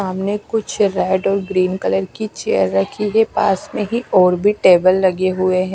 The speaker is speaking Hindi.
सामने कुछ रेड और ग्रीन कलर की चेयर रखी है पास मे ही और भी टेबल लगे हुए है।